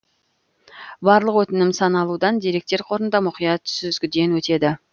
барлық өтінім саналуан деректер қорында мұқият сүзгіден өтеді